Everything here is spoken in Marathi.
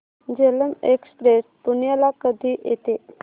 झेलम एक्सप्रेस पुण्याला कधी येते